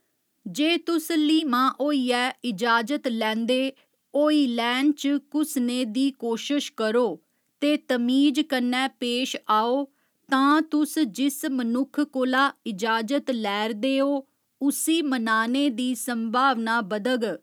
जे तुस ल्हीमां होइयै इजाजत लैंदे होई लैन च घुसने दी कोशश करो ते तमीज कन्नै पेश आओ तां तुस जिस मनुक्ख कोला इजाजत लै'रदे हो उस्सी मनाने दी संभावना बधग।